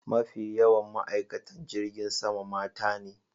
Mafi yawan ma'aikatan jirgin sama mata ne.